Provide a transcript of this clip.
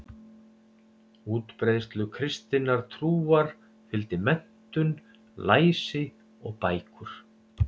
Útbreiðslu kristinnar trúar fylgdi menntun, læsi og bækur.